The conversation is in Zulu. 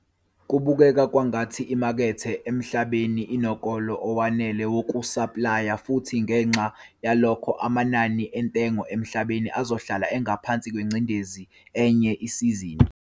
Kubukeka kwangathi imakethe emhlabeni inokolo owanele wokusaplaya futhi ngenxa yaloko, amanani entengo emhlabeni azohlala engaphansi kwengcindezi enye isizini.